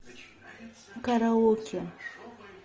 караоке